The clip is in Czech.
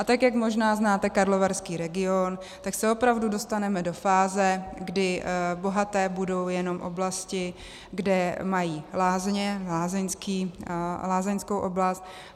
A tak jak možná znáte Karlovarský region, tak se opravdu dostaneme do fáze, kdy bohaté budou jenom oblasti, kde mají lázně, lázeňskou oblast.